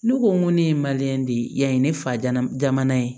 Ne ko n ko ne ye de yani ne fa jama jamana ye